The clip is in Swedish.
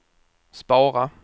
spara